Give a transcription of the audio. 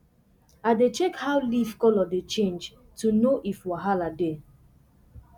i dey check how leaf colour dey change to know if wahala dey